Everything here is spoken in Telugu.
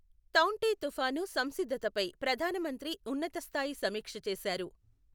తౌఁటే తుపాను సంసిద్ధతపై ప్రధానమంత్రి ఉన్నతస్థాయి సమీక్ష చేసారు.